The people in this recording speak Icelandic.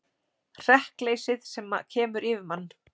Hrekkleysið sem kemur yfir mann.